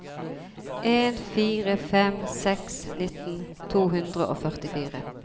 en fire fem seks nittien to hundre og førtifire